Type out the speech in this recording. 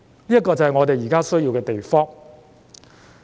這就是我們現時需要的東西。